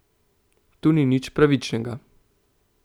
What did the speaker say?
Tu ni nič pravičnega.